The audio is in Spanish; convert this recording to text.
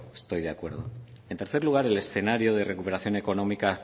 estoy de acuerdo en tercer lugar el escenario de recuperación económica